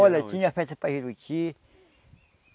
Olha, tinha festa para Juruti.